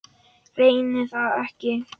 Reyni það ekki.